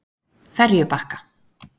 Ferjubakka